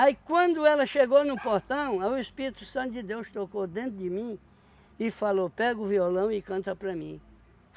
quando ela chegou no portão, a o Espírito Santo de Deus tocou dentro de mim e falou, pega o violão e canta para mim.